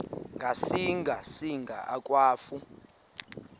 ngasinga singa akwafu